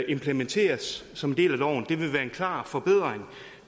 implementeres som en del af loven det vil være en klar forbedring